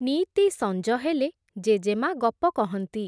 ନିଇତି ସଞ୍ଜହେଲେ, ଜେଜେମା’ ଗପ କହନ୍ତି ।